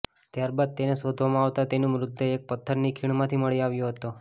ત્યારબાદ તેને શોધવામાં આવતા તેનું મૃતદેહ એક પથ્થરની ખીણમાંથી મળી આવ્યો હતો